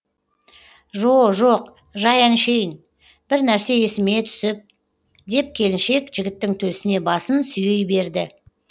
жо жоқ жай әншейін бір нәрсе есіме түсіп деп келіншек жігіттің төсіне басын сүйей берді